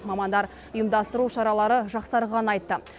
мамандар ұйымдастыру шаралары жақсарғанын айтты